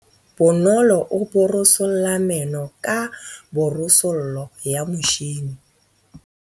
Bonolô o borosola meno ka borosolo ya motšhine.